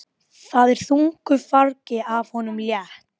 Það er þungu fargi af honum létt.